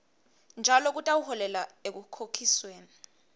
njalo kutawuholela ekukhokhisweni